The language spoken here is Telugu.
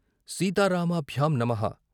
సీతారామాభ్యాం నమః